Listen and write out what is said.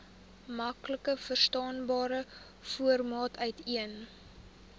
maklikverstaanbare formaat uiteen